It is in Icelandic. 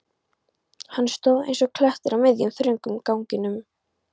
Hann stóð eins og klettur á miðjum, þröngum ganginum.